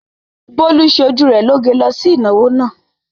Bólú ṣe ojú rẹ lóge lọ sí ìnáwó náà.